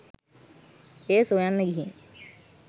එය සොයන්න ගිහින්